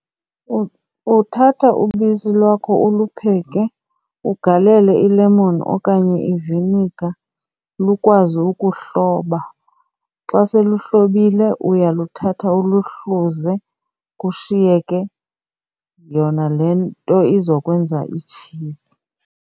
Uthatha ubisi lwakho ulupheke ugalele ilemoni okanye i-vinegar lukwazi ukuhloba. Xa seluhlobile uyaluthatha uluhluze kushiyeke yona le nto izokwenza itshizi.